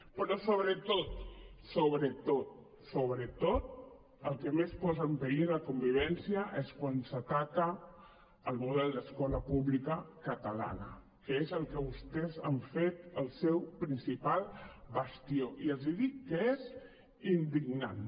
però sobretot sobretot sobretot el que més posa en perill la convivència és quan s’ataca el model d’escola pública catalana que és del que vostès han fet el seu principal bastió i els dic que és indignant